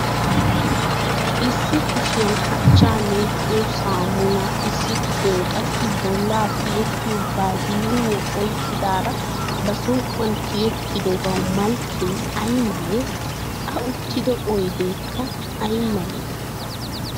Issi kushiyan achchaa meeciyoo saammuaa issi kushiyan qassi bollaa tiyettiyo baziliiiniya oyqqadiraa ba som"uwan tiyettidobawu malkkee ay malee? A uttido oydeekka aymalay?